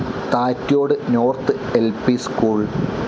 Thattyode north L P school